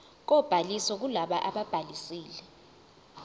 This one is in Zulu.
kobhaliso kulabo ababhalisile